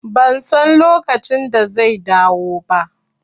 Ban san lokacin da zai dawo ba